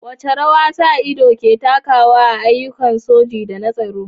Wace rawa sa ido ke takawa a ayyukan soji da na tsaro?